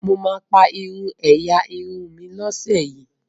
mọ má pá irú ẹyà Irun mí ló ṣe yí